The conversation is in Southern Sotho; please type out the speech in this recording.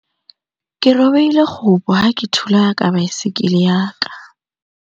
Ke robehile kgopo ha ke thula ka baesekele ya ka.